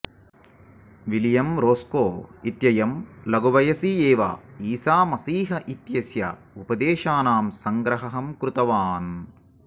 William Roscoe इत्ययं लघुवयसि एव ईसामसीह इत्यस्य उपदेशानाम् सङ्ग्रहं कृतवान्